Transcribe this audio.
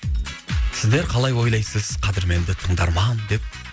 сіздер қалай ойлайсыз қадірменді тыңдарман деп